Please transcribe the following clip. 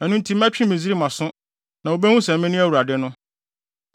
Ɛno nti mɛtwe Misraim aso, na wobehu sɛ mene Awurade no.’ ”